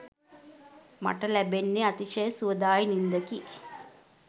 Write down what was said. මට ලැබෙන්නේ අතිශය සුවදායී නින්දකි